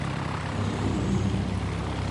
зульфии